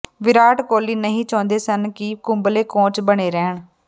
ਵਿਰਾਟ ਕੋਹਲੀ ਨਹੀਂ ਚਾਹੁੰਦੇ ਸਨ ਕਿ ਕੁੰਬਲੇ ਕੋਚ ਬਣੇ ਰਹਿਣ